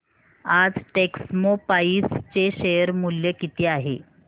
आज टेक्स्मोपाइप्स चे शेअर मूल्य किती आहे